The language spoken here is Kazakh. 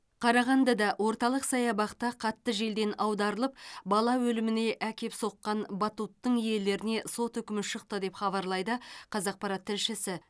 қарағандыда орталық саябақта қатты желден аударылып бала өліміне әкеп соққан батуттың иелеріне сот үкімі шықты деп хабарлайды қазақпарат тілшісі